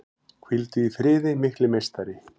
Hvíldu í friði mikli meistari!